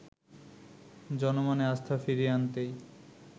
জনমনে আস্থা ফিরিয়ে আনতেই